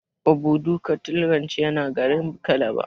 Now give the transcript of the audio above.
Obudu cattle ranch yana garin calabar.